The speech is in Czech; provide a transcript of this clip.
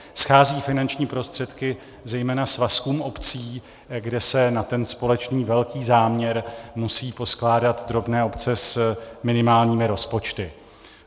Schází finanční prostředky zejména svazkům obcí, kde se na ten společný velký záměr musí poskládat drobné obce s minimálními rozpočty.